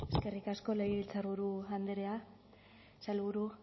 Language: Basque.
eskerrik asko legebiltzarburu andrea sailburu